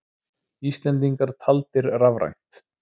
Íslendingar taldir rafrænt